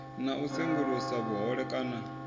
na u sengulusa vhuhole kana